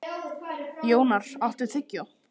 Jónar, áttu tyggjó?